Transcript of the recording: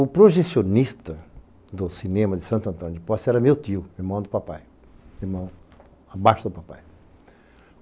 O projecionista do cinema de Santo Antônio de Poça era meu tio, irmão do papai, irmão abaixo do papai.